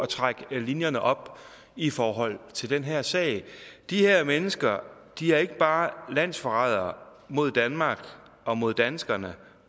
trække linjerne op i forhold til den her sag de her mennesker er ikke bare landsforrædere mod danmark og mod danskerne